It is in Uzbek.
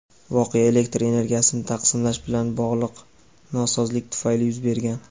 voqea elektr energiyasini taqsimlash bilan bog‘liq nosozlik tufayli yuz bergan.